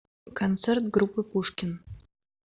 концерт группы пушкин